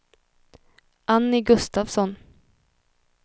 Annie Gustafsson